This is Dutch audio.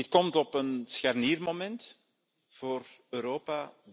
Dit komt op een scharniermoment voor Europa.